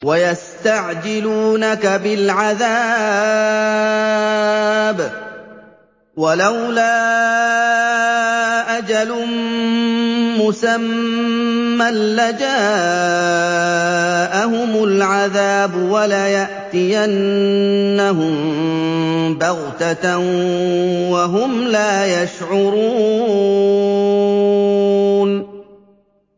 وَيَسْتَعْجِلُونَكَ بِالْعَذَابِ ۚ وَلَوْلَا أَجَلٌ مُّسَمًّى لَّجَاءَهُمُ الْعَذَابُ وَلَيَأْتِيَنَّهُم بَغْتَةً وَهُمْ لَا يَشْعُرُونَ